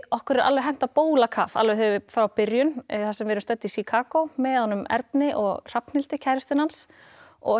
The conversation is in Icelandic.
okkur er alveg hent á bólakaf alveg frá byrjun þar sem við erum stödd í Chicago með honum Erni og Hrafnhildi kærustunni hans og